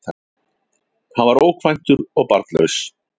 Hann var ókvæntur og barnlaus